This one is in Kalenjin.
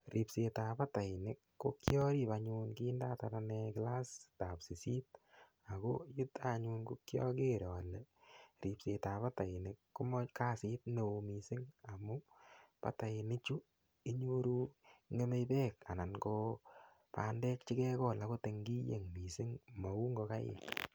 Ripsetab batainik ko kiarip anyun kindatar ane kilasitab sisit ako yuto anyun ko kiager ale ripsetab batainik komakasit ne oo mising' amu bataini chu inyoru ng'emei beek anan ko bandek chekiekol akot eng' kiyeng' mising' mau ngokaik